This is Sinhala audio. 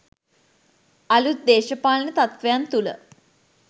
අලුත් දේශපාලන තත්ත්වයන් තුළ